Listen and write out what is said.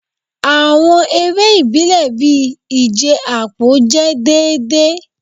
Awọn ere ibile bii ije apo jẹ deede